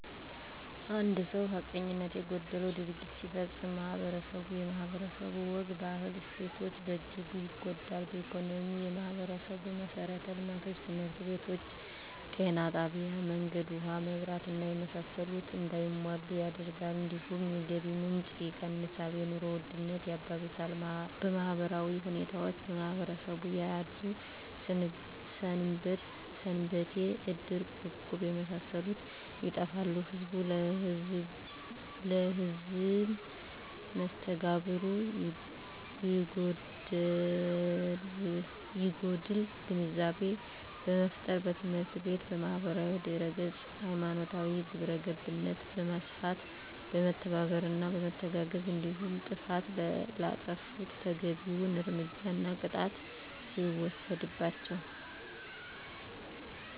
አንድ ሰው ሀቀኝነት የጎደለው ድርጊት ሲፈፀም ማህበረስቡ የማህበረሰቡ ወግ ባህል እሴቶች በእጅጉ ይጎዳል በኢኮኖሚ የማህበረሰቡን መሠረተ ልማቶች( ትምህርት ቤቶች ጤና ጣቢያ መንገድ ውሀ መብራት እና የመሳሰሉት) እንዳይሟሉ ያደርጋል እንዲሁም የገቢ ምንጭ የቀንሳል የኑሮ ውድነት ያባብሳል በማህበራዊ ሁኔታዎች በማህበረሰቡ ያሉ ሰንበቴ እድር እቁብ የመሳሰሉት ይጠፋሉ ህዝብ ለህዝም መስተጋብሩ ይጎዳል ግንዛቤ በመፍጠር በትምህርት ቤት በማህበራዊ ድህረገፅ ሀይማኖታዊ ግብረገብነት በማስፋት በመተባበርና በመተጋገዝ እንዲሁም ጥፍት ላጠፉት ተገቢዉን እርምጃና ቅጣት ሲወሰድባቸው